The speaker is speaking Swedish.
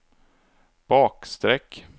bakstreck